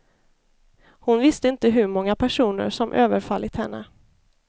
Hon visste inte hur många personer som överfallit henne.